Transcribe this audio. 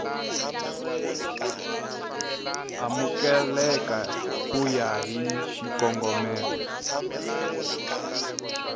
amukeleka ku ya hi xikongomelo